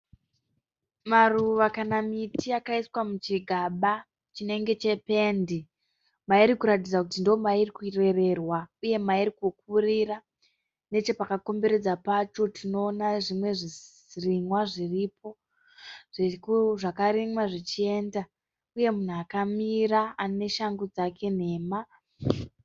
maruva kana miti yakaiswa muchigaba chinenge chependi